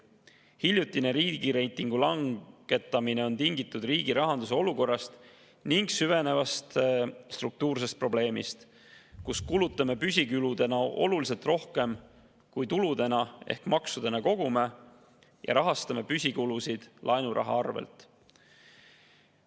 Hiljutine riigireitingu langetamine on tingitud riigi rahanduse olukorrast ning süvenevast struktuursest probleemist, kus kulutame püsikuludena oluliselt rohkem, kui on tulusid ehk maksudena kogume, ja rahastame püsikulusid laenuraha arvelt.